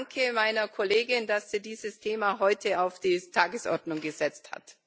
Ich danke meiner Kollegin, dass sie dieses Thema heute auf die Tagesordnung gesetzt hat.